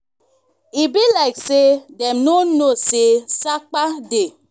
e be like say dem no know say sapa dey